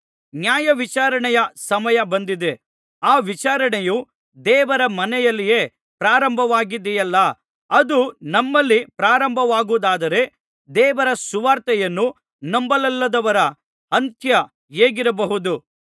ನ್ಯಾಯವಿಚಾರಣೆಯ ಸಮಯ ಬಂದಿದೆ ಆ ವಿಚಾರಣೆಯು ದೇವರ ಮನೆಯಲ್ಲಿಯೇ ಪ್ರಾರಂಭವಾಗಿದೆಯಲ್ಲಾ ಅದು ನಮ್ಮಲ್ಲಿ ಪ್ರಾರಂಭವಾಗುವುದಾದರೆ ದೇವರ ಸುವಾರ್ತೆಯನ್ನು ನಂಬಲೊಲ್ಲದವರ ಅಂತ್ಯ ಹೇಗಿರಬಹುದು